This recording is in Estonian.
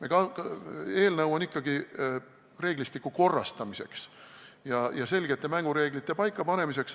Eelnõu on ette nähtud ikkagi reeglistiku korrastamiseks ja selgete mängureeglite paikapanemiseks.